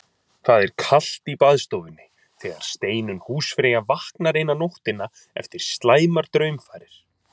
Það er kalt í baðstofunni þegar Steinunn húsfreyja vaknar eina nóttina eftir slæmar draumfarir.